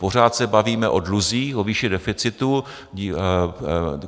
Pořád se bavíme o dluzích, o výši deficitu.